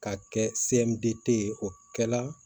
Ka kɛ ye o kɛla